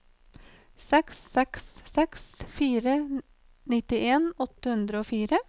seks seks seks fire nittien åtte hundre og fire